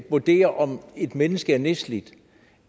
vurdere om et menneske er nedslidt